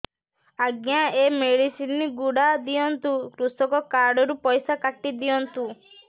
ଆଜ୍ଞା ଏ ମେଡିସିନ ଗୁଡା ଦିଅନ୍ତୁ କୃଷକ କାର୍ଡ ରୁ ପଇସା କାଟିଦିଅନ୍ତୁ